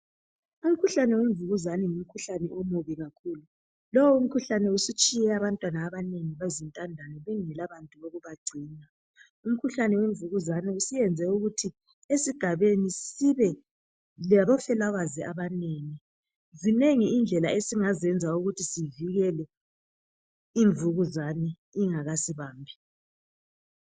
Umkhuhlane wemvukuzane ngumkhuhlane omubi kakhulu. Lowu mkhuhlane usutshiye abantwana abanengi kakhulu bezintandane bengela bantu bokubagcina. Umkhuhlane wemvukuzane usuyenze ukuthi esigabeni sibe labafelokazi abanengi. Zinengi kakhulu indlela zokuthi sivikele imvukuzane ingakasibambi.